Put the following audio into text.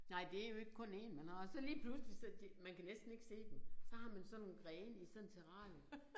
Nej det jo ikke kun 1 man har så lige pludselig så det man kan næsten ikke se dem så har man sådan nogle grene i sådan et terrarium